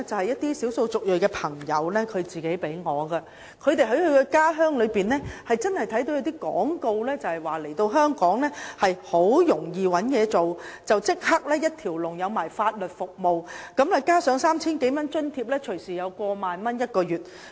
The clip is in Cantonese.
一些少數族裔朋友給我看他們在家鄉帶來的廣告單張，宣傳香港很容易找到工作，可獲得提供一條龍法律服務，加上有 3,000 多元生活津貼，每月隨時有超過1萬元收入。